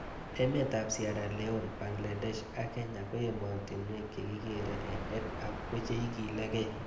Emet ab Sierra leon, Bangladesh ak Kenya ko ematinwek che kikere EdHub ko che ikilig'ei